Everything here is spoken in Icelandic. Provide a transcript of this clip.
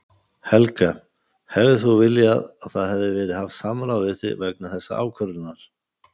Helga: Hefðir þú viljað að það hefði verið haft samráð við þig vegna þessarar ákvörðunar?